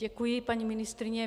Děkuji, paní ministryně.